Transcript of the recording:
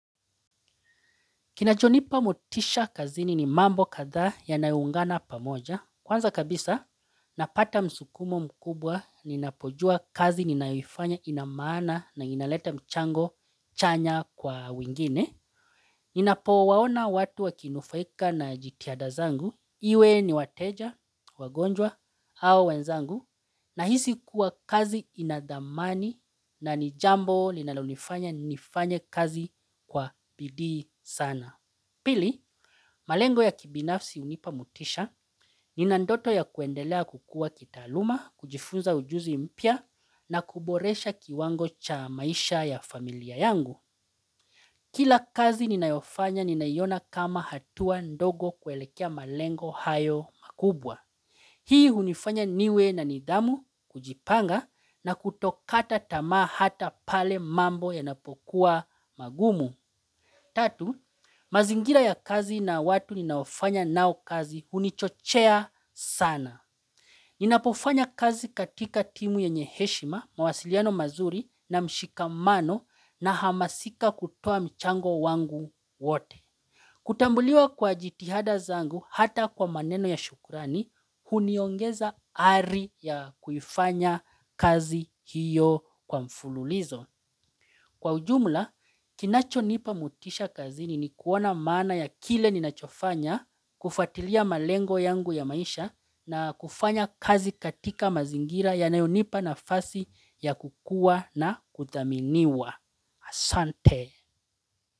Kinachonipa motisha kazini ni mambo kadhaa yanayo ungana pamoja. Kwanza kabisa, napata msukumo mkubwa, ninapojuwa kazi ninaoifanya ina maana na inaleta mchango chanya kwa wengine. Ninapo waona watu wakinufaika na jitihada zangu, iwe ni wateja, wagonjwa, au wenzangu, nahisi kuwa kazi inadhamani na nijambo linalonifanya nifanye kazi kwa bidii sana. Pili, malengo ya kibinafsi hunipa motisha, nina ndoto ya kuendelea kukua kitaaluma, kujifunza ujuzi mpya na kuboresha kiwango cha maisha ya familia yangu. Kila kazi ninayofanya ninaiona kama hatua ndogo kuelekea malengo hayo makubwa. Hii hunifanya niwe na nidhamu, kujipanga na kutokata tamaa hata pale mambo yanapokuwa magumu. Tatu, mazingira ya kazi na watu ninaofanya nao kazi hunichochea sana. Ninapofanya kazi katika timu yenye heshima, mawasiliano mazuri na mshikamano, nahamasika kutoa mchango wangu wote. Kutambuliwa kwa jitihada zangu hata kwa maneno ya shukurani, huniongeza ari ya kuifanya kazi hiyo kwa mfululizo. Kwa ujumla, kinacho nipa motisha kazi ni kuona maana ya kile ninachofanya, kufuatilia malengo yangu ya maisha na kufanya kazi katika mazingira yanayonipa nafasi ya kukua na kuthaminiwa. Asante!